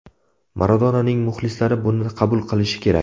Maradonaning muxlislari buni qabul qilishi kerak.